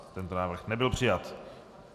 Tento návrh nebyl přijat.